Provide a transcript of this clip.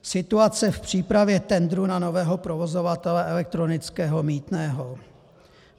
Situace v přípravě tendrů na nového provozovatele elektronického mýtného.